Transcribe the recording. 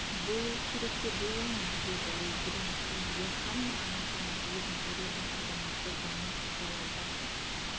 болуы керек деп ойлаймын деді ол бұдан кейін йоханна анасына өзін зорлаған азаматты заңмен жазалауға